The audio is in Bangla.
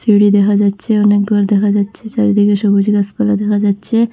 সিঁড়ি দেখা যাচ্ছে অনেক ঘর দেখা যাচ্ছে চারিদিকে সবুজ গাসপালা দেখা যাচ্ছে।